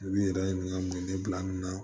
I b'i yɛrɛ ɲininka ne bila nin na